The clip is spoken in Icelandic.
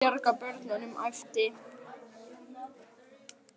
Við verðum að bjarga börnunum æpti